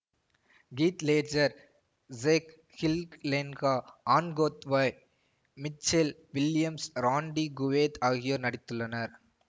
Keith Ledger Jake Gyllenhaal Anne Hathaway Michelle Williams Randy Quaid ஆகியோர் நடித்துள்ளனர்